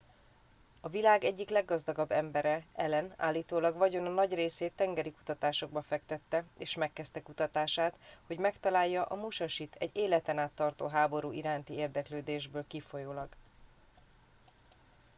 a világ egyik leggazdagabb embere allen állítólag vagyona nagy részét tengeri kutatásokba fektette és megkezdte kutatását hogy megtalálja a musashit egy életen át tartó háború iránti érdeklődésből kifolyólag